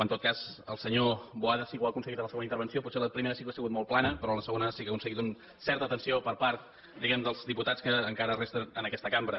en tot cas el senyor boada sí que ho ha aconseguit en la segona intervenció potser la primera sí que ha sigut molt plana però en la segona sí que ha aconseguit certa atenció per part diguem dels diputats que encara resten en aquesta cambra